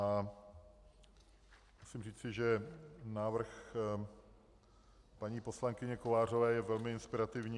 A musím říci, že návrh paní poslankyně Kovářové je velmi inspirativní.